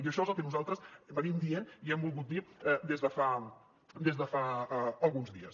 i això és el que nosaltres diem i hem volgut dir des de fa alguns dies